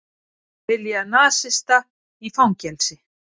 Vilja nasista í fangelsi